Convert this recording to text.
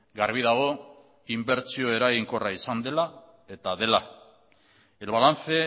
garbi dago inbertsio eraginkorra izan dela eta dela el balance